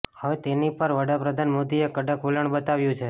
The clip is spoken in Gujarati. હવે તેની પર વડાપ્રધાન મોદીએ કડક વલણ બતાવ્યું છે